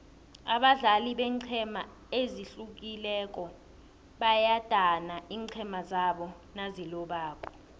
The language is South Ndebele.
abadlali beenqhema ezihlukileko bayadana iinqhema zabo nazilobako